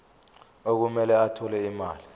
okumele athole imali